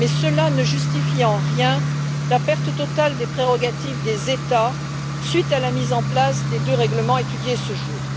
Mais cela ne justifie en rien la perte totale des prérogatives des États du fait de la mise en place des deux règlements étudiés ce jour.